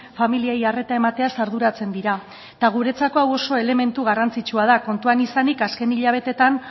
familiei arreta emateaz arduratzen dira eta guretzako hau oso elementu garrantzitsua da kontuan izanik azken hilabeteetan